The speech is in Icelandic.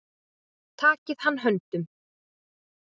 Takið hann höndum.